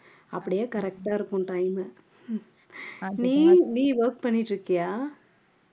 அப்படியே correct ஆ இருக்கும் time உ நீயும் நீ work பண்ணிட்டு இருக்கியா